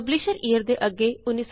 publish year ਦੇ ਅੱਗੇ 1975